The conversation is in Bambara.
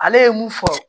Ale ye mun fɔ